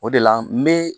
O de la n bɛ